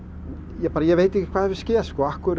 ég bara veit ekki hvað hefur skeð af hverju